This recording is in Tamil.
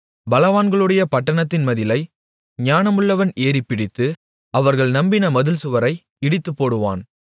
பலவான்களுடைய பட்டணத்தின் மதிலை ஞானமுள்ளவன் ஏறிப்பிடித்து அவர்கள் நம்பின மதில்சுவரை இடித்துப்போடுவான்